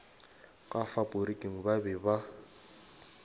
ka faporiking ba be ba